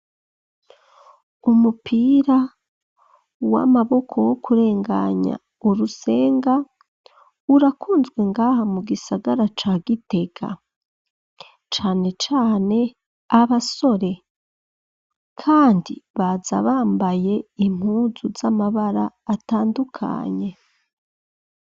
Umupira w'amaboko wo kurenganya urusenga urakunzwe ngaha mu gisagara ca Gitega ,cane cane abasore kandi baza bambaye impunzu z'amabara atandukanye.